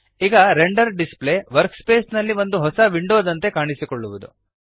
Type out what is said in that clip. ಈಗ render display work space ನಲ್ಲಿ ಒಂದು ಹೊಸ ವಿಂಡೋದಂತೆ ಕಾಣಿಸಿಕೊಳ್ಳುವುದು